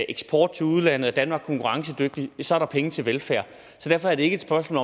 eksport til udlandet at danmark er konkurrencedygtigt så er der penge til velfærd så derfor er det ikke et spørgsmål